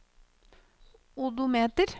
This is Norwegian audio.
odometer